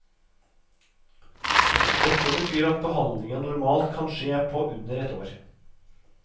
Dette betyr at behandlingen normalt kan skje på under ett år.